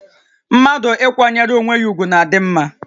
Mmadụ ịkwanyere onwé ya ùgwù na-adị mmá